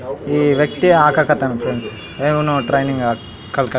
ಈ ವ್ಯಕ್ತಿಯೆ ಹಾಕಕತ್ತನ ಫ್ರೆಂಡ್ಸ್ ಇವ್ನು ಟ್ರೈನಿಂಗ್ ಕಲ್ಕ --